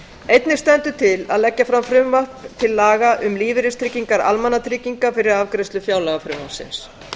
einnig stendur til að leggja fram frumvarp til laga um lífeyristryggingar almannatrygginga fyrir afgreiðslu fjárlagafrumvarpsins